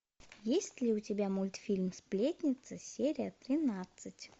есть ли у тебя мультфильм сплетница серия тринадцать